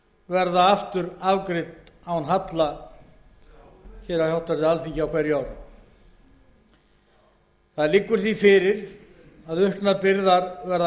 verða aftur afgreidd án halla á háttvirtu alþingi á hverju ári það liggur því fyrir að auknar byrðar verða